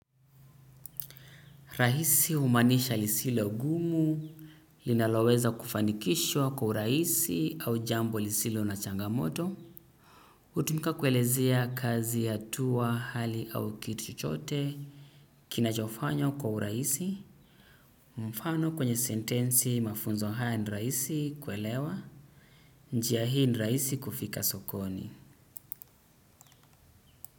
Rahisi humaanisha lisilogumu. Linaloweza kufanikishwa kwa urahisi au jambo lisilo na changamoto hutumika kuelezea kazi hatua, hali au kitu chochote. Kinachofanywa kwa urahisi. Mfano kwenye sentensi, mafunzo haya ni rahisi kuelewa. Njia hii ni rahisi kufika sokoni.